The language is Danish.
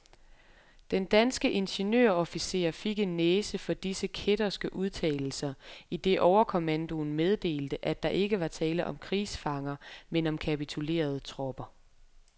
Den danske ingeniørofficer fik en næse for disse kætterske udtalelser, idet overkommandoen meddelte, at der ikke var tale om krigsfanger, men om kapitulerede tropper.